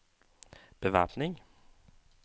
bevæpning